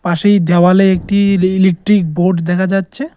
পাশের দেওয়ালে একটি ইলি ইলিকট্রিক বোর্ড দেখা যাচ্ছে।